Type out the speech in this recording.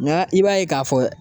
i b'a ye k'a fɔ